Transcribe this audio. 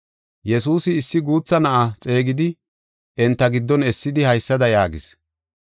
Yesuusi issi guutha na7a xeegidi enta giddon essidi haysada yaagis.